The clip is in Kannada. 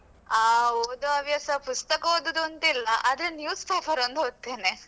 ಹ ಓದುವ ಹವ್ಯಾಸ ಪುಸ್ತಕ ಓದುವುದಂತಿಲ್ಲ ಆದ್ರೆ newspaper ಒಂದು ಒದ್ತೇನೆ.